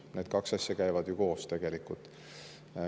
Need kaks asja käivad koos tegelikult.